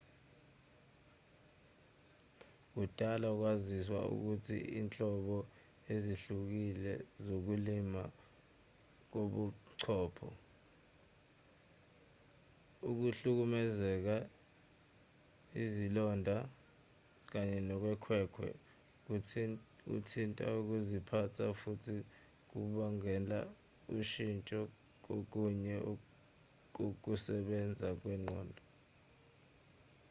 kudala kwaziwa ukuthi izinhlobo ezihlukile zokulimala kobuchopho ukuhlukumezeka izilonda kanye nokhwekhwe kuthinta ukuziphatha futhi kubangela ushintsho kokunye kokusebenza kwengqondo